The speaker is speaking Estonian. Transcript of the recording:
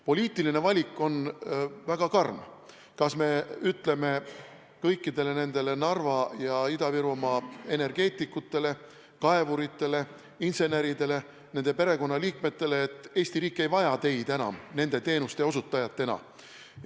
Poliitiline valik on väga karm: kas me ütleme kõikidele nendele Narva ja Ida-Virumaa energeetikutele, kaevuritele, inseneridele, nende perekonnaliikmetele, et Eesti riik ei vaja teid enam nende teenuste osutajatena?